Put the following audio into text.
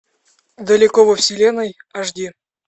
далеко во вселенной аш ди